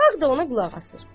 Xalq da ona qulaq asır.